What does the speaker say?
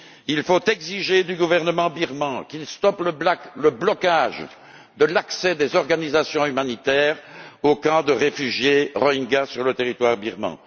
Il faut exiger du gouvernement birman qu'il stoppe le blocage de l'accès des organisations humanitaires aux camps des réfugiés rohingyas sur le territoire birman.